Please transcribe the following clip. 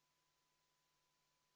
Palun, valimiskomisjoni liige Meelika Aava!